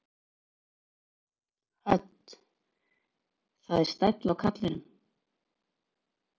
Hödd: Það er stæll á kallinum?